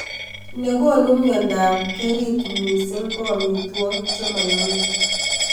Nekonu myondab kerit missing ko amitwokik chemoyome